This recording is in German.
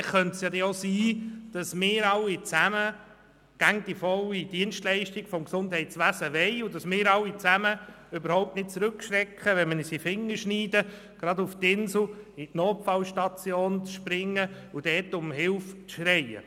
Vielleicht könnte es ja auch sein, dass wir alle zusammen immer die volle Dienstleistung des Gesundheitswesens wollen und dass wir alle zusammen überhaupt nicht zurückschrecken, gerade in die Notfallstation des Inselspitals zu rennen und dort nach Hilfe zu schreien, wenn wir uns in den Finger geschnitten haben.